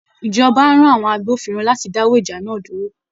Ìjọba á rán àwọn agbófinró láti dáwọ́ ìjà náà dúró